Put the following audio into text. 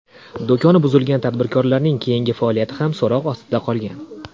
Do‘koni buzilgan tadbirkorlarning keyingi faoliyati ham so‘roq ostida qolgan.